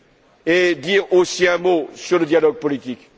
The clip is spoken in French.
régions. Je dirai aussi un mot sur le dialogue politique.